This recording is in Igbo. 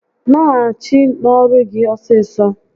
Naghachi n'ọrụ gị ọsịsọ!